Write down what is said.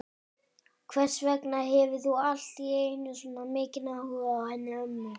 Hvers vegna hefur þú allt í einu svona mikinn áhuga á henni ömmu?